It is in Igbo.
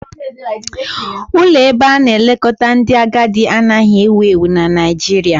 Ụlọ ebe ana-elekọta ndị agadi anaghị ewu ewu na Nigeria